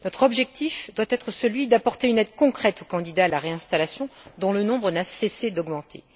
Notre objectif doit être celui d'apporter une aide concrète aux candidats à la réinstallation, dont le nombre n'a cessé d'augmenter.